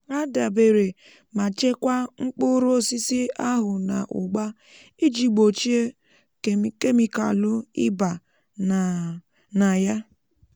há dèbèrè mà chekwáá mkpụrụ osisi ahù nà ụ́gba um iji gbòchíe kemikàlù ị́ba nà nà yá